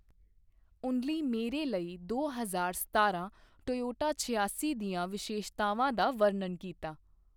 ਉਨਲੀ ਮੇਰੇ ਲਈ ਦੋ ਹਜ਼ਾਰ ਸਤਾਰਾਂ ਟੋਯੋਟਾ ਛਿਆਸੀ ਦੀਆਂ ਵਿਸ਼ੇਸ਼ਤਾਵਾਂ ਦਾ ਵਰਣਨ ਕੀਤਾ।